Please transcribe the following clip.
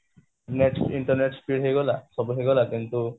internet speed ହେଇଗଲା ସବୁ ହେଇଗଲା କିନ୍ତୁ